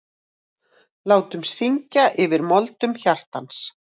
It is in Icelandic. Látum syngja yfir moldum hjartans.